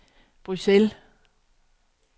Bruxelles